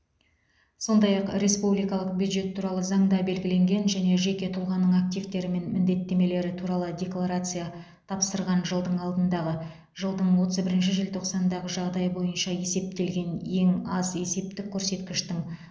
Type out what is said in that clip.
сондай ақ республикалық бюджет туралы заңда белгіленген және жеке тұлғаның активтері мен міндеттемелері туралы декларация тапсырған жылдың алдындағы жылдың отыз бірінші желтоқсанындағы жағдай бойынша есептелген ең аз есептік көрсеткіштің